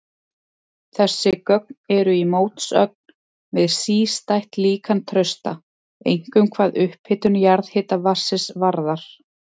Þessi gögn eru í mótsögn við sístætt líkan Trausta, einkum hvað upphitun jarðhitavatnsins varðar.